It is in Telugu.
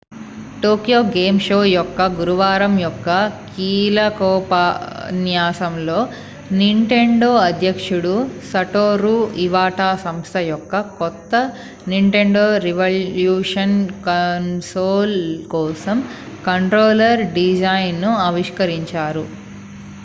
టోక్యో గేమ్ షో యొక్క గురువారం యొక్క కీలకోపన్యాసం లో నింటెండో అధ్యక్షుడు సటోరూ ఇవాటా సంస్థ యొక్క కొత్త నింటెండో రివల్యూషన్ కన్సోల్ కోసం కంట్రోలర్ డిజైన్ ను ఆవిష్కరించారు